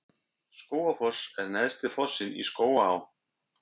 Skógafoss er neðsti fossinn í Skógaá.